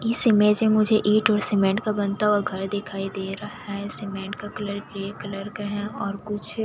इस इमेज में मुझे ईंट और सीमेंट का बनता हुआ घर दिखाई दे रहा है सीमेंट का कलर ग्रे कलर का है और कुछ --